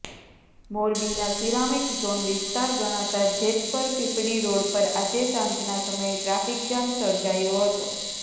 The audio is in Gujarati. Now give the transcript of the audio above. મોરબીના સીરામીક ઝોન વિસ્તાર ગણાતા જેતપર પીપળી રોડ પર આજે સાંજના સમયે ટ્રાફિકજામ સર્જાયો હતો